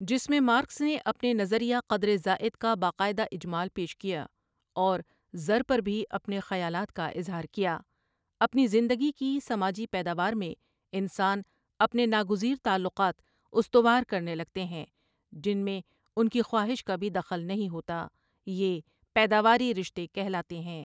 جس میں مارکس نے اپنے نظریہ قدر زائد کا با قاعد ہ اجمال پیش کیا اور زر پر بھی اپنے خیالات کا اظہار کیا اپنی زند گی کی سماجی پیداوار میں انسان اپنے ناگزیر تعلقات استو ار کر نے لگتے ہیں جن میں ان کی خواہش کا بھی دخل نہیں ہوتا یہ پید اواری رشتے کہلاتے ہیں ۔